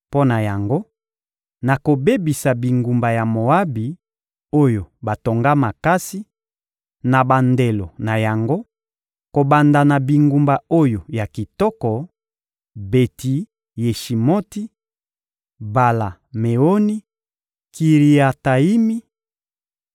Mpo na yango, nakobebisa bingumba ya Moabi, oyo batonga makasi, na bandelo na yango, kobanda na bingumba oyo ya kitoko: Beti-Yeshimoti, Bala-Meoni, Kiriatayimi;